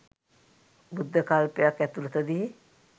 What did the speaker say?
බුද්ධ කල්පයක් ඇතුලතදී